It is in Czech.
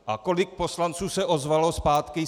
A kolik poslanců se ozvalo zpátky?